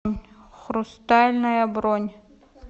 хрустальная бронь